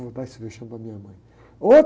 Vou dar esse vexame para minha mãe.